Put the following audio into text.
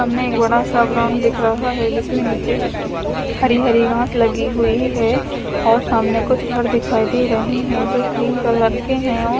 हमें एक बड़ा सा ग्राउंड दिख रहा है जिसमे नीचे हरी हरी घास लगी हुई है और सामने कुछ घर दिखाई दे रहे हैं जो क्रीम कलर के हैं और--